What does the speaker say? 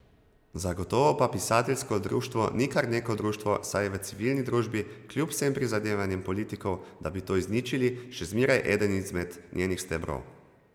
Zagotovo pa pisateljsko društvo ni kar neko društvo, saj je v civilni družbi, kljub vsem prizadevanjem politikov, da bi to izničili, še zmeraj eden izmed njenih stebrov.